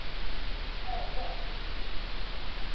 herre